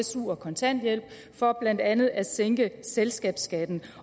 su og kontanthjælp for blandt andet at sænke selskabsskatten